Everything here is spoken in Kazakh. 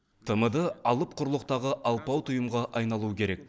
тмд алып құрлықтағы алпауыт ұйымға айналуы керек